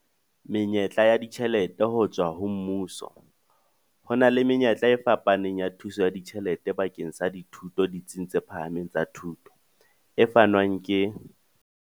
Menyetla ya ditjhelete ho tswa ho mmuso Ho na le menyetla e fapaneng ya thuso ya ditjhelete bakeng sa dithuto ditsing tse phahameng tsa thuto, e fanwang ke.